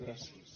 gràcies